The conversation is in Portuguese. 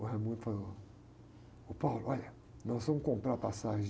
O falou, ô, olha, nós vamos comprar passagem.